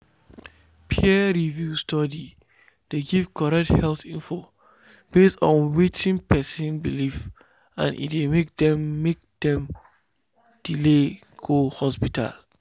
peer-reviewed study dey give correct health info based on wetin person believe and e dey make dem make dem delay go hospital.